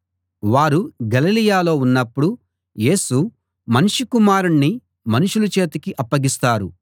వారు గలిలయలో ఉన్నప్పుడు యేసు మనుష్య కుమారుణ్ణి మనుషుల చేతికి అప్పగిస్తారు